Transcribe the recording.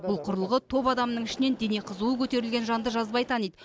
бұл құрылғы топ адамның ішінен дене қызуы көтерілген жанды жазбай таниды